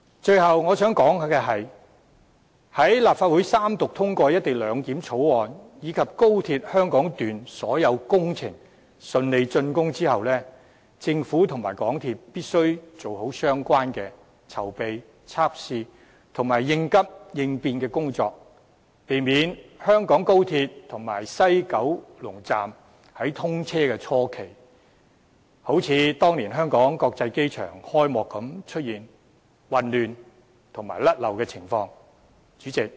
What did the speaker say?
最後，我想指出，在立法會三讀通過《條例草案》，以及當高鐵香港段所有工程順利峻工後，政府及港鐵公司必須做好相關籌備、測試和應急應變工作，避免香港高鐵和西九龍站在通車初期，像當年香港國際機場開幕般出現混亂和錯漏情況。